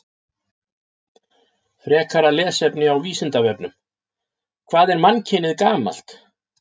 Frekara lesefni á Vísindavefnum: Hvað er mannkynið gamalt?